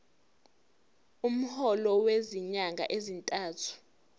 umholo wezinyanga ezintathu